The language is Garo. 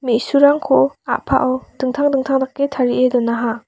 me·surangko a·pao dingtang dingtang dake tarie donaha.